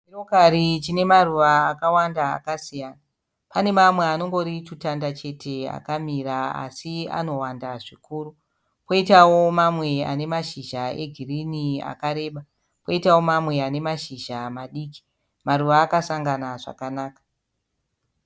Chirokari chine maruva akawanda akasiyana. Pane mamwe anongori tutanda chete akamira así anowanda zvikuru. Koitawio mamwe ane mashizha e girinhi akareba. Koitawo mamwe ane mashizha madikii, maruva akasangana zvakanaka.